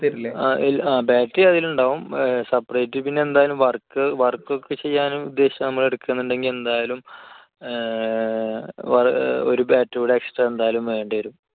ഇല്ല battery അതിലുണ്ടാകും. separate പിന്നെ എന്തായാലും work ഒക്കെ ചെയ്യാനും ഉദ്ദേശിച്ചാണ് നമ്മൾ എടുക്കുന്നതെന്ന് ഉണ്ടെങ്കിൽ എന്തായാലും ഏർ ഒരു battery കൂടി extra എന്തായാലും വേണ്ടിവരും.